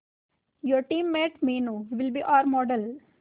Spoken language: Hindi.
your team mate Meenu will be our model